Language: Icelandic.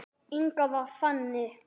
Inga var þannig.